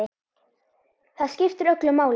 Það skiptir öllu máli.